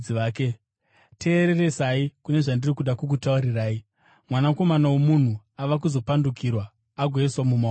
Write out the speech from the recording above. “Teereresai kune zvandiri kuda kukutaurirai: Mwanakomana woMunhu ava kuzopandukirwa agoiswa mumaoko avanhu.”